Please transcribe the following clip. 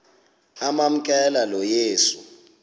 amamkela lo yesu